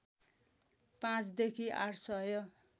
पाँचदेखि आठ सय